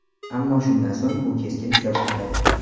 Ammo shundan so‘ng u keskin tusha boshladi.